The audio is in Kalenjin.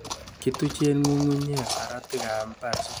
Kituchen ng'ungunyek saratikab mbar sikobar chemasai.